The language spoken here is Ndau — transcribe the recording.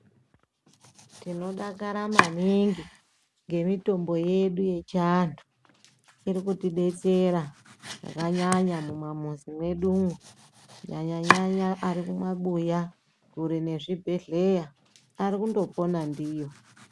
Tinodakara maningi ngemitombo yedu yechiantu iri kutidetsera zvakanyanya mumamizi mwedumo kunyanyanyanya ari mumabuya kure nezvibhedhlera ari kungopona ndiyo.